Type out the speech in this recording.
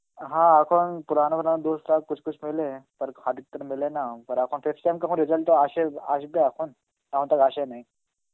হা এখন পুরানো কোন Hindi রাও Hindi মেলে মেলে না, আর এখন next time কখন result টা আসে, আসবে এখন এখন তাও আসে নাই.